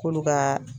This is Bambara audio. K'olu ka